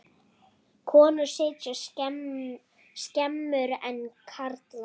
Konur sitja skemur en karlar.